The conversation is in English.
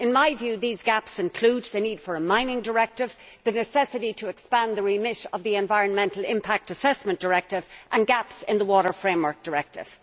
In my view these gaps include the need for a mining directive, the necessity to expand the remit of the Environmental Impact Assessment Directive and gaps in the Water Framework Directive.